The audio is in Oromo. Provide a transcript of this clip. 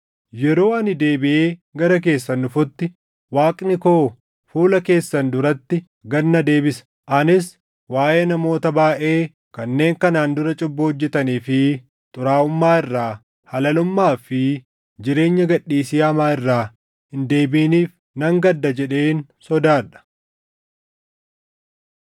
Yeroo ani deebiʼee gara keessan dhufutti Waaqni koo fuula keessan duratti gad na deebisa; anis waaʼee namoota baayʼee kanneen kanaan dura cubbuu hojjetanii fi xuraaʼummaa irraa, halalummaa fi jireenya gad dhiisii hamaa irraa hin deebiʼiniif nan gadda jedheen sodaadha.